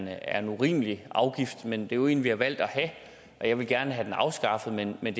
er en urimelig afgift men det er jo en vi har valgt at have jeg ville gerne have den afskaffet men men